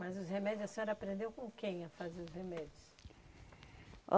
Mas os remédios, a senhora aprendeu com quem a fazer os remédios?